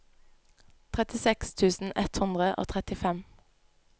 trettiseks tusen ett hundre og trettifem